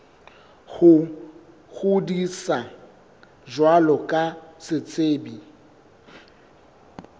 ho ngodisa jwalo ka setsebi